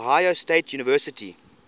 ohio state university